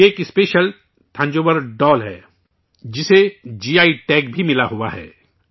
یہ ایک special Thanjavur doll ہے، جسے جی آئی ٹیگ بھی ملا ہوا ہے